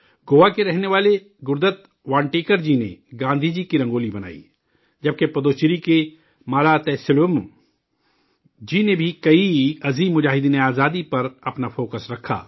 گوا کے رہنے والے گرودت وانٹیکر جی نے گاندھی جی کی رنگولی بنائی، جب کہ پڈوچیری کے مالا تلیسوم جی نے بھی آزادی کے کئی عظیم سپاہیوں پر اپنا فوکس رکھا